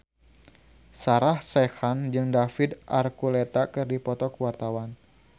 Sarah Sechan jeung David Archuletta keur dipoto ku wartawan